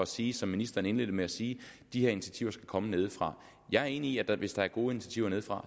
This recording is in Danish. sige som ministeren indledte med at sige at de her initiativer skal komme nedefra jeg er enig i at vi hvis der er gode initiativer nedefra